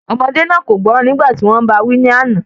Ọmọdé náà kò gbọ́rọ̀ nígbà tí wọ́n bá a wí ní àná